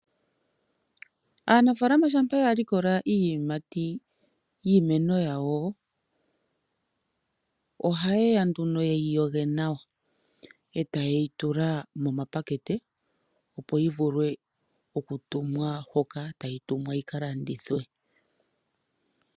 Aanafaalama shampa ya likola iiyamati yiimeno yawo, ohaye ya nduno ye yi yoge nawa eta ye yi tula momapakete opo yi vule oku tumwa mpoka tayi tumwa yika landithwe.